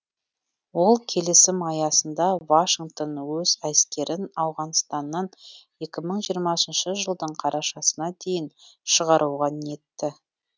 ол келісім аясында вашингтон өз әскерін ауғанстаннан екі мың жиырмасыншы жылдың қарашасына дейін шығаруға ниетті